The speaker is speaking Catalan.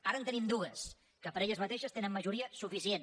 ara en tenim dues que per elles mateixes tenen majoria suficient